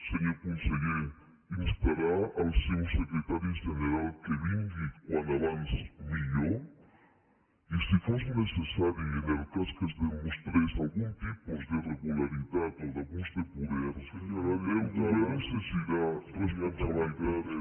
senyor conseller instarà el seu secretari general que vingui com abans millor i si fos necessari en el cas que es demostrés algun tipus d’irregularitat o d’abús de poder el govern exigirà responsabilitats